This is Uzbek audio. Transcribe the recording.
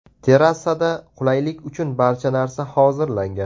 Terrasada qulaylik uchun barcha narsa hozirlangan.